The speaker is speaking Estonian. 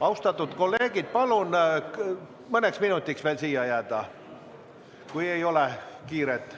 Austatud kolleegid, palun mõneks minutiks veel siia jääda, kui ei ole kiiret.